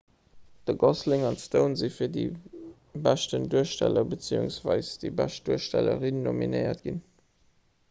de gosling an d'stone si fir de beschten duersteller bzw déi bescht duerstellerin nominéiert ginn